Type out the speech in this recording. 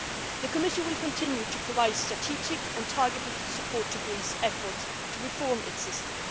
The Commission will continue to provide strategic and targeted support for Greece's efforts to reform its system.